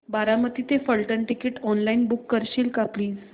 बारामती ते Phaltan ticket online book करशील का प्लीज